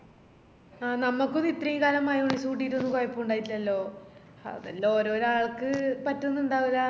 ആ നമക്കൊന്നും ഇത്രേം കാലം mayonnaise കൂട്ടിട്ടൊന്നും കൊയപ്പുണ്ടയിറ്റില്ലാലോ അതെല്ലാം ഓരോരാ ആൾക്ക് പറ്റുന്നുണ്ടാവൂല